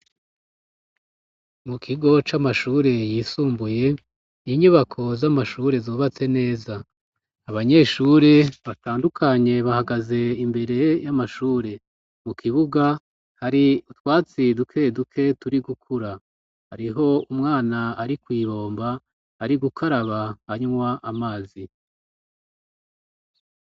Mu kigo c'amashure yisumbuye inyubako z'amashure zubatse neza abanyeshure batandukanye bahagaze imbere y'amashure mu kibuga hari twatsi duke duke turi gukura ariho umwana ari kuibomba ari gukaraba anywa amazi.